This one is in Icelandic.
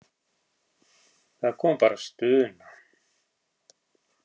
Það kom bara stuna.